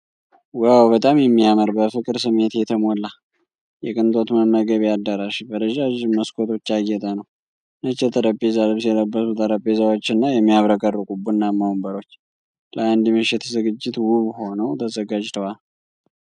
ዋው፣ በጣም የሚያምር! በፍቅር ስሜት የተሞላ፣ የቅንጦት መመገቢያ አዳራሽ በረዣዥም መስኮቶች ያጌጠ ነው። ነጭ የጠረጴዛ ልብስ የለበሱ ጠረጴዛዎችና የሚያብረቀርቁ ቡናማ ወንበሮች ለአንድ ምሽት ዝግጅት ውብ ሆነው ተዘጋጅተዋል።